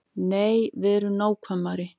Nei, verum nákvæmari.